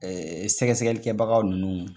Ɛɛ sɛgɛsɛgɛlikɛbaga ninnu